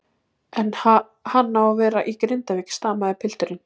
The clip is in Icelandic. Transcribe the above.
En ha-hann á að vera í Grindavík, stamaði pilturinn.